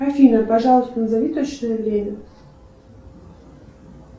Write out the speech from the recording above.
афина пожалуйста назови точное время